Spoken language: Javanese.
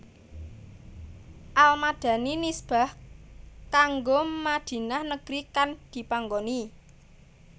Al Madani nisbah kanggo Madinah negri kang dipanggoni